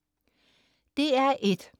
DR1: